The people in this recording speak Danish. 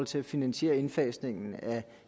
til at finansiere indfasningen